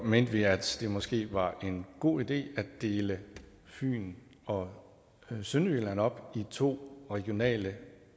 mente vi at det måske var en god idé at dele fyn og sønderjylland op i to regionale